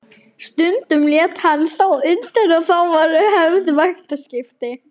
Stundum lét hann þó undan og þá voru höfð vaktaskipti.